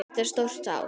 Þetta var stórt ár.